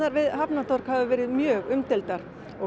við Hafnartorg hafa verið mjög umdeildar